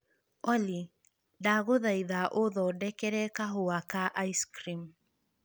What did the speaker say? Olly, ta ndagũthaitha ũthondekere kahũa ka ice cream